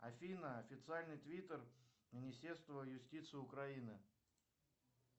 афина официальный твиттер министерства юстиции украины